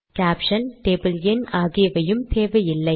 caption table எண் ஆகியவையும் தேவையில்லை